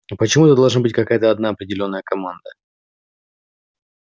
а почему это должна быть какая-то одна определённая команда